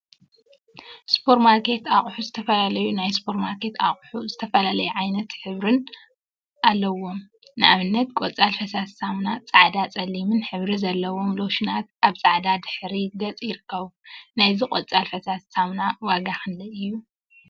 ሱፐር ማርኬት አቁሑ ዝተፈላለዩ ናይ ሱፐር ማርኬት አቁሑ ዝተፈላለየ ዓይነትን ሕብሪን አለዎም፡፡ ንአብነት ቆፃል ፈሳሲ ሳሙና ፃዕዳን ፀሊምን ሕብሪ ዘለዎም ሎሽናት አብ ፃዕዳ ድሕረ ገፅ ይርከቡ፡፡ ናይዚ ቆፃል ፈሳሲ ሳሙና ዋጋ ክንደይ እዩ?